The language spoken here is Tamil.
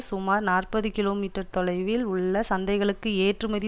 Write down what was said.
சுமார் நாற்பது கிமீ தொலைவில் உள்ள சந்தைகளுக்கு ஏற்றுமதி